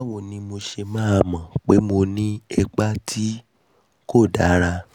báwo ni mo ṣe máa mọ̀ bóyá mo ti ní ipa tí kò dára?